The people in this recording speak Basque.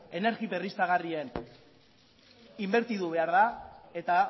energia berriztagarrian inbertitu behar da eta